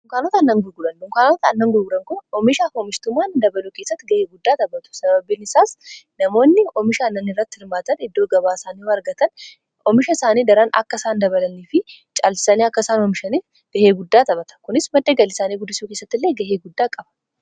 Dunkaanota aannan gurguran: donkaanotni aannan gurguran kun oomishaa fi oomishtummaan akka dabaluuf ga'ee guddaa xaphatu. Sababiin isaas namoonni oomisha aannani irratti hirmaatan iddoo gabaa isaanii argatan oomisha isaanii daraan akka isaan dabalanii fi caalchisanii akka isaan oomishanii gahee guddaa taphata . Kunis madda galii isaanii guddisuu keessatti illee ga'ee guddaa qaba.